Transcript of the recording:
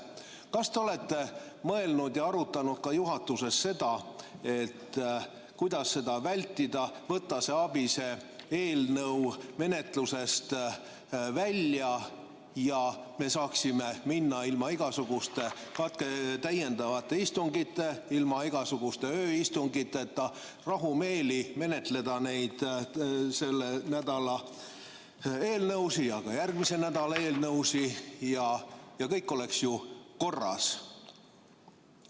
Kas te olete mõelnud ja arutanud ka juhatuses seda, kuidas seda vältida, et võtta see ABIS‑e eelnõu menetlusest välja ja me saaksime ilma igasuguste täiendavate istungiteta, ilma igasuguste ööistungiteta rahumeeli menetleda neid selle nädala eelnõusid ja ka järgmise nädala eelnõusid ja kõik oleks ju korras?